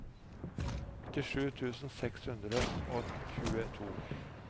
åttisju tusen seks hundre og tjueto